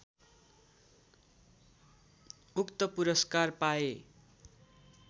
उक्त पुरस्कार पाए